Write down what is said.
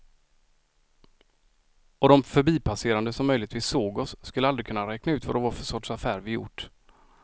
Och de förbipasserande som möjligtvis såg oss skulle aldrig kunna räkna ut vad det var för sorts affär vi gjort.